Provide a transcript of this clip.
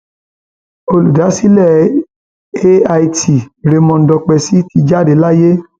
olùdásílẹ ait raymond dókèsì ti jáde láyé